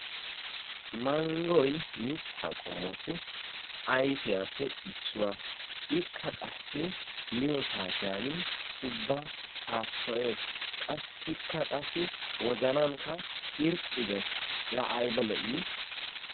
Manggoy mitta qommotu ayfiyaappe issuwaa ikka qassi miyo saatiyaan ubbakk saassoyees. Qassikka qassi wozanankka irxxi gees, la aybba lo"i!